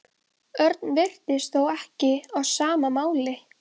Örn virtist þó ekki á sama máli.